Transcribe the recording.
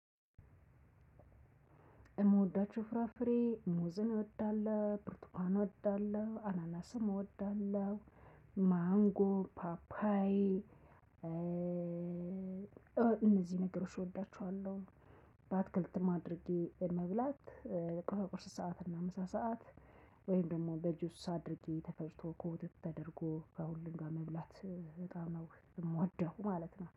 የምወዳቸው ፍራፍሬ ሙዝን እወዳለሁ ብርቱካን እወዳለሁ አናናስም እወዳለሁ ማንጎ ፓፓይ እነዚህን ነገሮች እወዳቸዋለሁ። በአትክልትም አድርጌ በመብላት በቁርስ ሰዓት እና በምሳ ሰዓት ወይም ደግሞ በጁስ አድርጌ ተፈጭቶ በወተት ተደርጎ ከሁሉም ጋር መብላት። እምወደው ማለት ነው